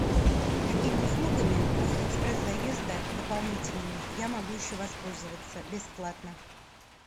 какими услугами после экспресс заезда дополнительными я могу еще воспользоваться бесплатно